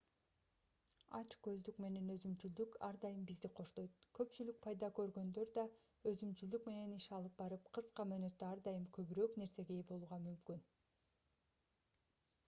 ач көздүк менен өзүмчүлдүк ар дайым бизди коштойт көпчүлүк пайда көргөндө да өзүмчүлдүк менен иш алып барып кыска мөөнөттө ар дайым көбүрөөк нерсеге ээ болууга мүмкүн